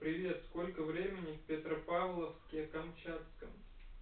привет сколько времени в петропавловске-камчатском